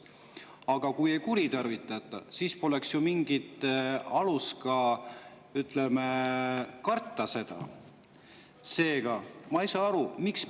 Aga kui ei kuritarvitata, siis poleks ju ka mingit alust, ütleme, karta.